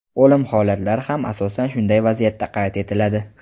O‘lim holatlari ham asosan shunday vaziyatda qayd etiladi.